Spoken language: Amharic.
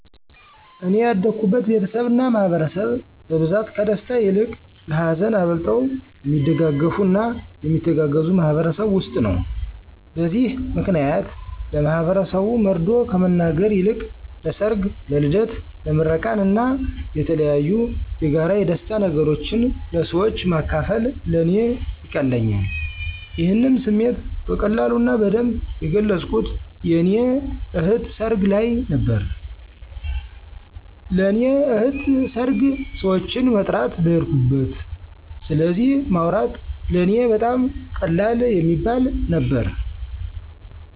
እኔ ያደኩበት ቤተሰብ እና ማህበረሰብ በብዛት ከደስታ ይልቅ ለሀዘን አብልጠው የሚደጋገፉ እና የሚተጋገዙ ማህበረሰብ ውስጥ ነው። በዚህ ምክንያት ለማህበረሰቡ መርዶ ከመናገር ይልቅ ለሰር፣ ለልደት፣ ለምርቃን እና የተለያዬ የጋራ የደስታ ነገሮችን ለሰወች ማካፈል ለእኔ ይቀለኛል። ይሄንም ስሜቴ በቀላሉ እና በደንብ የገለፅኩት የእኔ እህት ሰርግ ልይ ነበረ። ለእኔ ለእህቴን ሰርግ ሰወችን መጥራት በሄድኩበት ስለዚ ማውራት ለእኔ በጣም ቀላል የሚባል ነበረ።